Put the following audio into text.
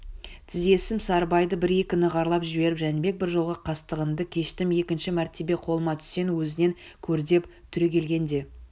тізесімен сарыбайды бір-екі нығарлап жіберіп жәнібек бір жолға қастығыңды кештім екінші мәртебе қолыма түссең өзіңнен көрдеп түрегелген де